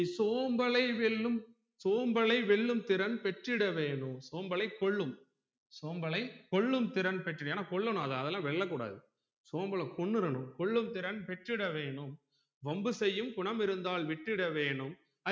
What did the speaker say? வெல்லும் சோம்பலை வெல்லும் திறன் பெற்றிட வேணும் சோம்பலை கொல்லும் சோம்பலை கொல்லும் திறன் பெற்றிட வேணும் ஏன்னா கொல்லனும் அதலா அதலாம் வெல்ல கூடாது சோம்பல கொன்னுடனும் கொல்லும் திறன் பெற்றிட வேணும் வம்பு செய்யும் குணம் இருந்தால் விட்டுட வேணும்